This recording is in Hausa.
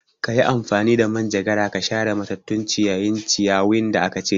Kayi amfani da manjagara ka share matattun ciyayin ciyawin da aka cire